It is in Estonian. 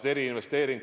Jürgen Ligi, palun!